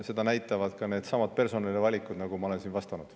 Seda näitavad ka needsamad personalivalikud, nagu ma olen siin vastanud.